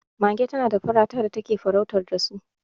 mage tana da farata da take farautar da su